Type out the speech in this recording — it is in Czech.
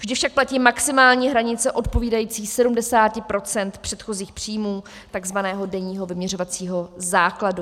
Vždy však platí maximální hranice odpovídající 70 % předchozích příjmů, tzv. denního vyměřovacího základu.